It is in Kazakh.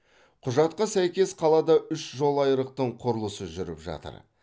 құжатқа сәйкес қалада үш жолайрықтың құрылысы жүріп жатыр